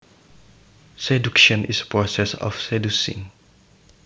Seduction is process of seducing